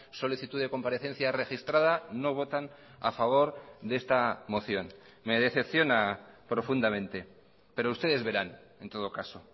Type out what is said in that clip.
solicitud de comparecencia registrada no votan a favor de esta moción me decepciona profundamente pero ustedes verán en todo caso